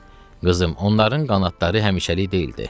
Qızım, onların qanadları həmişəlik deyildi.